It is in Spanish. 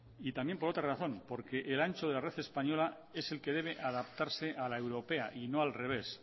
y también por otra razón porque el ancho de la red española es el que debe adaptarse a la europea y no al revés